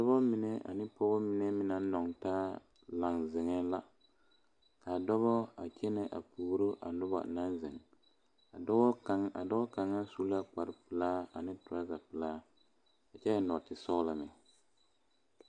Dɔɔ mine ane pɔgebo mine meŋ naŋ noɔ taa zeŋe la kaa dɔɔbo a kyɛne a pouri a noba naŋ zeŋ dɔɔ kaŋa a dɔɔ kaŋa su la kpare pelaa ane trazaa pelaa kyɛ eŋ nɔɔte sɔglɔ.